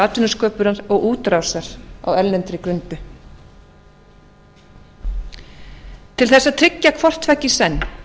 atvinnusköpunar og útrásar á erlendri grundu til þess að tryggja hvorttveggja í senn